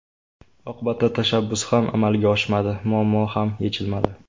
Oqibatda tashabbus ham amalga oshmadi, muammo ham yechilmadi.